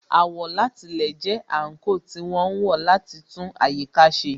Àwọ̀látilẹ̀ jẹ́ àńkò tí wọ́n ń lò láti fi tún àyíká ṣe